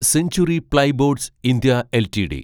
century plyboards India LTD